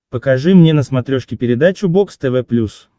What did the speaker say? покажи мне на смотрешке передачу бокс тв плюс